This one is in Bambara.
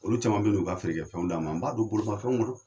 Olu caman bɛ n' u ka feere fɛnw d' an ma, n b'a don bolimafɛnw kɔnɔ.